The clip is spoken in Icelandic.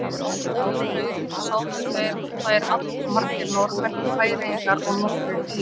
Áður lauk sátu þær allmargir Norðmenn og Færeyingar og nokkrir Írar.